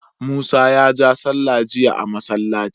musa ya ja sallah jiya a masallaci